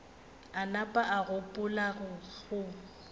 a napa a gopola go